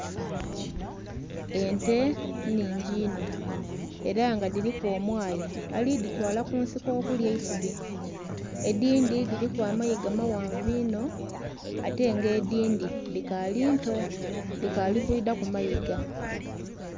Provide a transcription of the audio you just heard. Ente nnhingi inho era nga dhiriku omwayi alidhitwala kunsiko okulya eisubi, edhindhi dhiriku amayiga maghanvu inho ate nga edhindhi dhikali nto dhikali kwidhaku mayiga.